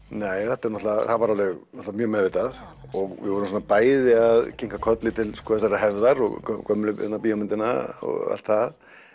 þetta er náttúrulega það var alveg mjög meðvitað og við vorum svona bæði að kinka kolli til þessarar hefðar og gömlu og allt það